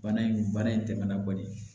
Bana in bana in tɛmɛna bɔli